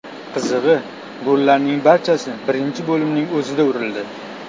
Qizig‘i, gollarning barchasi birinchi bo‘limning o‘zida urildi.